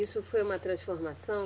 Isso foi uma transformação?